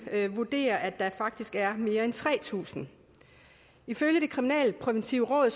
vurderer at der faktisk er mere end tre tusind ifølge det kriminalpræventive råd